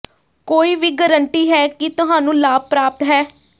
ਕੋਈ ਵੀ ਗਰੰਟੀ ਹੈ ਕਿ ਤੁਹਾਨੂੰ ਲਾਭ ਪ੍ਰਾਪਤ ਹੈ